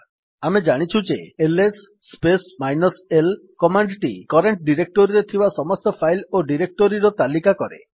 ଆମେ ଜାଣିଛୁ ଯେ LS space minus l command ଟି କରେଣ୍ଟ୍ ଡିରେକ୍ଟୋରିରେ ଥିବା ସମସ୍ତ ଫାଇଲ୍ ଓ ଡିରେକ୍ଟୋରିର ତାଲିକା କରେ